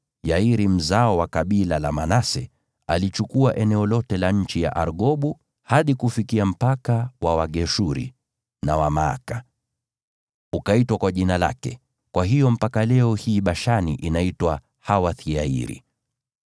Yairi, mzao wa kabila la Manase, alichukua eneo lote la nchi ya Argobu hadi kufikia mpaka wa Wageshuri na Wamaaka, ukaitwa kwa jina lake; kwa hiyo mpaka leo hii Bashani inaitwa Hawoth-Yairi.)